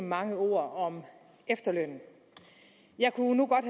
mange ord om efterløn jeg kunne nu godt